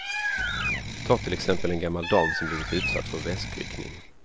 Ta till exempel en gammal dam som blivit utsatt för väskryckning.